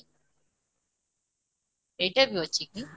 ଏଇଟା ବି ଅଛି କି